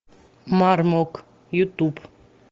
мармок ютуб